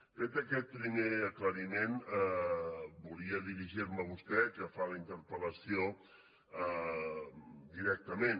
fet aquest primer aclariment volia dirigir me a vostè que fa la interpel·lació directament